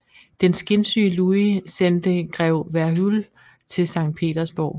Den skinsyge Louis sendte grev Verhuell til Sankt Petersborg